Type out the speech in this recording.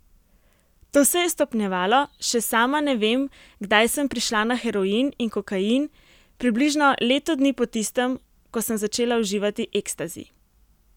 To se je stopnjevalo, še sama ne vem, kdaj sem prišla na heroin in kokain, približno leto dni po tistem, ko sem začela uživati ekstazi.